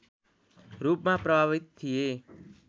रूपमा प्रभावित थिए